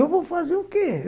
Eu vou fazer o quê?